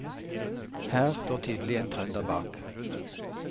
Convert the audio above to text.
Her står tydelig en trønder bak.